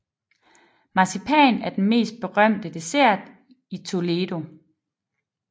Marcipan er den mest berømte dessert i Toledo